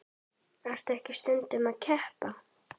Ertu ekki stundum að keppa?